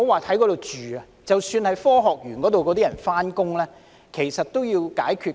當區居民及科學園上班族的交通問題都需要解決。